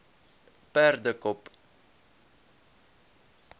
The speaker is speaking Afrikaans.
perdekop